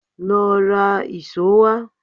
Lọ ra ìṣó wá.